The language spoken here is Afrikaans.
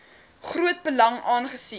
groot belang aangesien